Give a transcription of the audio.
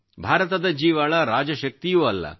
ಭಾರತದ ಜೀವಾಳ ರಾಜಶಕ್ತಿಯೂ ಅಲ್ಲ